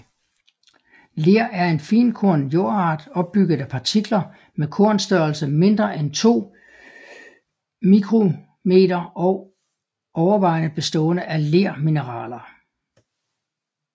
Ler er en finkornet jordart opbygget af partikler med kornstørrelse mindre end 2 µm og overvejende bestående af lermineraler